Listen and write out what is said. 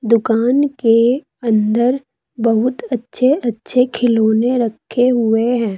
दुकान के अंदर बहुत अच्छे अच्छे खिलौने रखे हुए हैं।